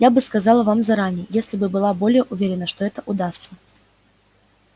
я бы сказала вам заранее если бы была более уверена что это удастся